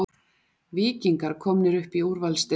Víkingar komnir upp í úrvalsdeildina